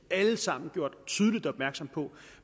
alle sammen gjort tydeligt opmærksom på at